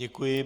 Děkuji.